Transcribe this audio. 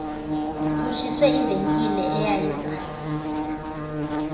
kutshiswe ivenkile eyayiza